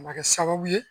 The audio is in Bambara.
A ma kɛ sababu ye